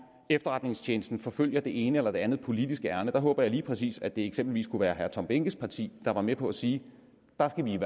efterretningstjenesten forfølger det ene eller det andet politiske ærinde der håber jeg lige præcis at det eksempelvis kunne være herre tom behnkes parti der var med på at sige der skal vi i